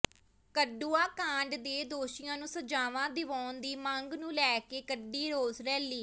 ਕਠੂਆ ਕਾਂਡ ਦੇ ਦੋਸ਼ੀਆਂ ਨੂੰ ਸਜ਼ਾਵਾਂ ਦਿਵਾਉਣ ਦੀ ਮੰਗ ਨੂੰ ਲੈ ਕੇ ਕੱਢੀ ਰੋਸ ਰੈਲੀ